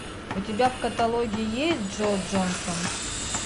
у тебя в каталоге есть джо джонсон